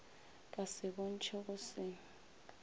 ka se bontšhe go se